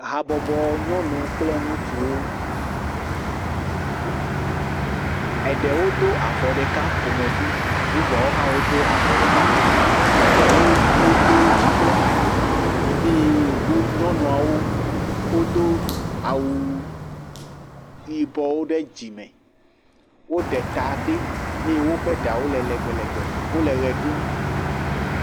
habɔbɔ nyɔnuwo kple ŋutsuwo eɖewo dó avɔ ɖeka ƒomevi bubuawo haã wodó avɔ ɖeka ƒomevi eɖewo wodó dzi kple anyi eye nyɔnuawo wodó awu yibɔwo ɖe dzime woɖe ta ɖi ye wóƒe ɖawo le legbelgbe wóle ɣe ɖum